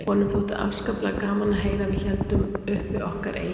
Honum þótti afskaplega gaman að heyra að við héldum uppi okkar eigin